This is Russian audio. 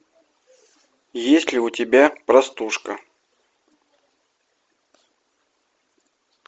есть ли у тебя простушка